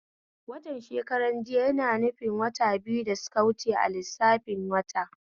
Watan shekran jiya na nufin waya biyu da suka wuce a lissafin wata